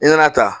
I nana ta